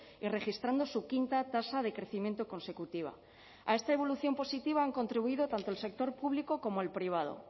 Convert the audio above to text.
y registrando su quinta tasa de crecimiento consecutiva a esta evolución positiva han contribuido tanto el sector público como el privado